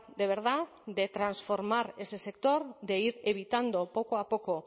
de verdad de transformar ese sector de ir evitando poco a poco